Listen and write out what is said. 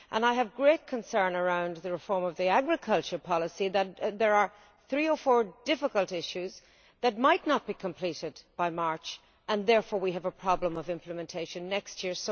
I am greatly concerned, with regard to the reform of the agriculture policy, that there are three or four difficult issues that might not be completed by March, and therefore we will have a problem of implementation next year.